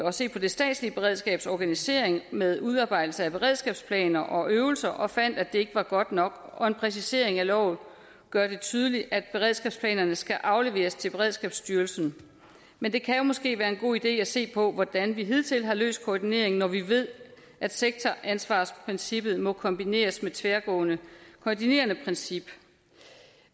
at se på det statslige beredskabs organisering med udarbejdelse af beredskabsplaner og øvelser og fandt at det ikke var godt nok og en præcisering af loven gør det tydeligt at beredskabsplanerne skal afleveres til beredskabsstyrelsen men det kan måske være en god idé at se på hvordan vi hidtil har løst koordineringen når vi ved at sektoransvarsprincippet må kombineres med et tværgående koordinerende princip